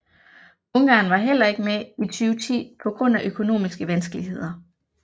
Ungarn var heller ikke med i 2010 på grund af økonomiske vanskeligheder